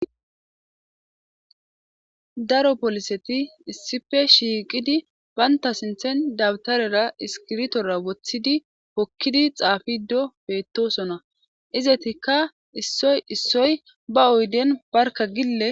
daro poliseti issife shiiqidi baynta sinthen dabtarera iskirtora woththidi pokkidi xaafido beettosona izatikka issoy issoy ba oyden barka gille